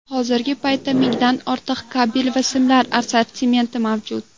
Hozirgi paytda mingdan ortiq kabel va simlar assortimenti mavjud.